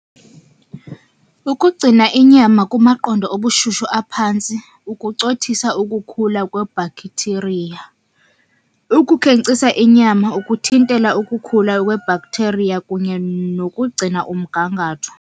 Ukugcina inyama kumaqondo obushushu aphantsi, ukucothisa ukukhula kwebhakthiriya. Ukukhenkcisa inyama, ukuthintela ukukhula kwebhaktheriya kunye nokugcina umgangatho.